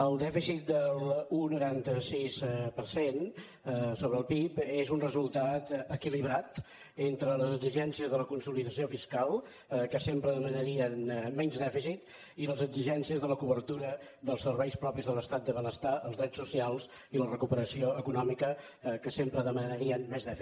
el dèficit de l’un coma noranta sis per cent sobre el pib és un resultat equilibrat entre les exigències de la consolidació fiscal que sempre demanarien menys dèficit i les exigències de la cobertura dels serveis propis de l’estat del benestar els drets socials i la recuperació econòmica que sempre demanarien més dèficit